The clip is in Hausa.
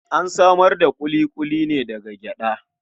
An samar da ƙuliƙuli ne daga gyaɗa.